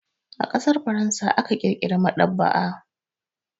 A ƙasar Faransa aka ƙirƙira maɗaba'a.